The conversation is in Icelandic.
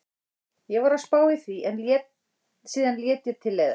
Ég var að spá í því en síðan lét ég til leiðast.